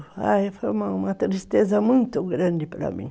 Foi uma tristeza muito grande para mim.